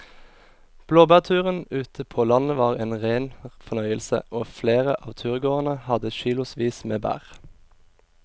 Blåbærturen ute på landet var en rein fornøyelse og flere av turgåerene hadde kilosvis med bær.